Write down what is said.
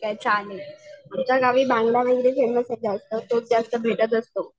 ठीक आहे चालेल. आमच्या गावी बांगडा वगैरे फेमस आहे. जास्त भेटत असतो.